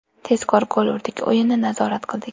Tezkor gol urdik, o‘yinni nazorat qildik.